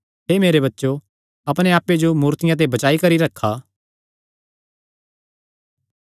हे मेरे बच्चो अपणे आप्पे जो मूर्तियां ते बचाई करी रखा